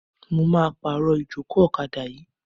Mo máa pàrọ̀ ìjókòó ọ̀kadà yìí.